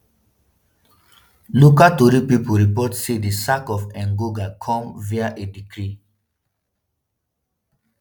local tori pipo report say di sack of engonga come via a decree